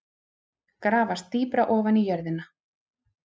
Grafast dýpra ofan í jörðina.